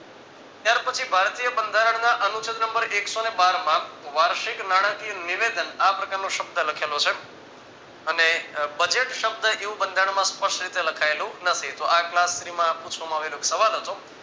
ત્યાર પછી ભારતીય બંધારણના અનુસન નંબર એક સો બાર માં વાર્ષિક નાણાકીય નિવેદન આ પ્રકારનો શબ્દ લખાયેલો છે અને budget શબ્દ એવું બંધારણમાં સ્પષ્ટ રીતે લખાયેલું નથી તો class three પૂછવામાં આવેલ એક સવાલ હતો